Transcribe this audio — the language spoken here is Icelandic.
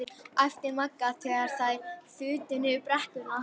. æpti Magga og þær þutu niður brekkuna.